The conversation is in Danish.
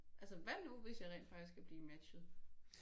Altså hvad nu hvis jeg rent faktisk kan blive matchet